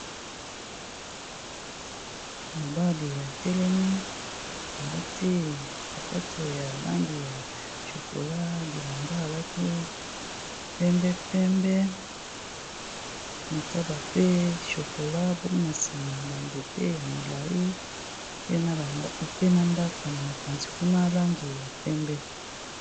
Mobali a telemi alati sapato ya langi ya chokola, bilamba alati pembe pembe, senture pe ya chokola, kuna siima banzete ya milai pe na ndako na mopanzi kuna ya langi ya pembe.